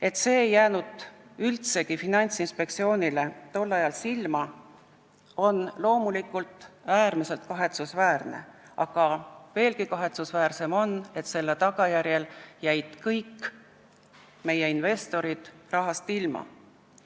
Et see ei jäänud Finantsinspektsioonile tol ajal üldsegi silma, on loomulikult äärmiselt kahetsusväärne, aga veelgi kahetsusväärsem on, et selle tagajärjel jäid kõik meie investorid rahast ilma.